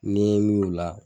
N'i ye mun o la